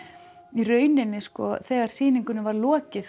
í rauninni þegar sýningunni var lokið